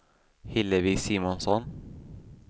Hillevi Simonsson